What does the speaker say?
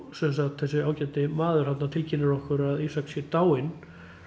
þessi ágæti maður þarna tilkynnir okkur að Ísak sé dáinn